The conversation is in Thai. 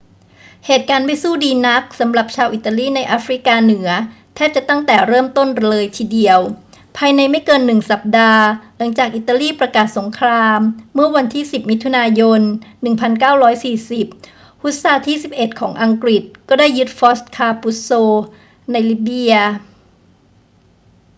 เหตุการณ์ไม่สู้ดีนักสำหรับชาวอิตาลีในแอฟริกาเหนือแทบจะตั้งแต่เริ่มต้นเลยทีเดียว ภายในไม่เกินหนึ่งสัปดาห์หลังจากอิตาลีประกาศสงครามเมื่อวันที่ 10 มิถุนายน 1940 ฮุสซาร์ที่ 11 ของอังกฤษก็ได้ยึดฟอร์ตคาปุซโซในลิเบีย